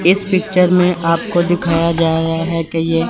इस पिक्चर में आपको दिखाया जा रहा है कि ये --